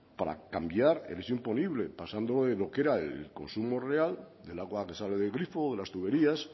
para cambiar el hecho imponible pasando de lo que era el consumo real del agua que sale del grifo o de las tuberías